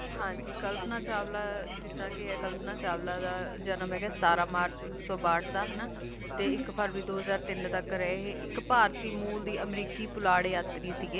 ਹਾਂਜੀ ਕਲਪਨਾ ਚਾਵਲਾ ਜਿੱਦਾ ਕੀ ਕਲਪਨਾ ਚਾਵਲਾ ਦਾ ਜਨਮ ਹੈਗਾ ਸਤਾਰਾ ਮਾਰਚ ਉੱਨੀ ਸੌ ਬਾਹਟ ਦਾ ਹੈਨਾ ਤੇ ਇਕ ਫਰਵਰੀ ਦੋ ਹਜਾਰ ਤੀਨ ਤੱਕ ਰਹੇ ਇਹ ਇਕ ਭਾਰਤੀ ਮੂਲ ਦੀ ਅਮਰੀਕੀ ਪੁਲਾੜ ਯਾਤਰੀ ਸਿਗੇ